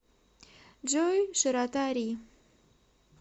джой широта ри